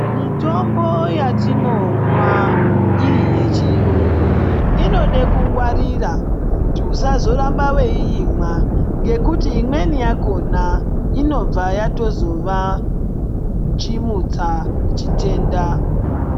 Mitombo yatinomwa iri yechiyungu inode kungwarira kuti usazorambe weiimwa ngekuti imweni yakona inobva yatozova chimutsa chitenda.